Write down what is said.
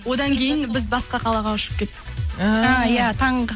одан кейін біз басқа қалаға ұшып кеттік ііі а иә таңғы